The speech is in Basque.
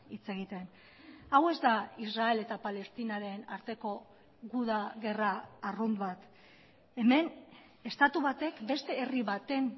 hitz egiten hau ez da israel eta palestinaren arteko guda gerra arrunt bat hemen estatu batek beste herri baten